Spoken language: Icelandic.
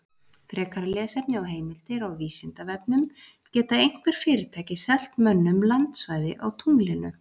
Frekara lesefni og heimildir á Vísindavefnum: Geta einhver fyrirtæki selt mönnum landsvæði á tunglinu?